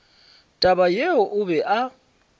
taba yeo o be a